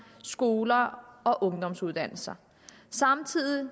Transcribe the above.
skoler og ungdomsuddannelser samtidig